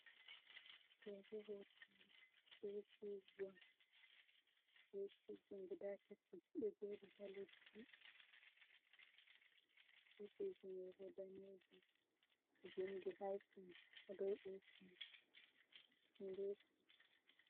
Ɗoo bo ɗum eesiiji, eesiiji on gudaa tati ɗe jooɗi ha leddi, eesiiji man bo daneeji, vinndi haysens ha dow eesi man nde.